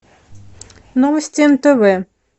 новости нтв